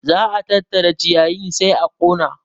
Za a tattara ciyayin sai a ƙona